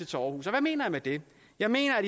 til aarhus og hvad mener jeg med det jeg mener